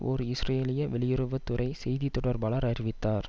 ஓர் இஸ்ரேலிய வெளியுறவு துறை செய்தி தொடர்பாளர் அறிவித்தார்